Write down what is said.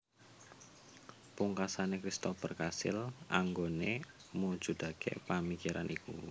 Pungkasane Christoper kasil anggone mujudake pamikiran iku